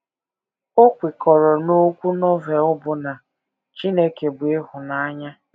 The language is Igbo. O kwekọrọ n’okwu Novel bụ́ na “ Chineke bụ ịhụnanya. ”